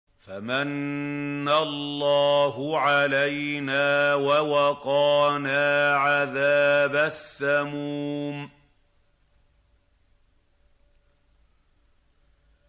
فَمَنَّ اللَّهُ عَلَيْنَا وَوَقَانَا عَذَابَ السَّمُومِ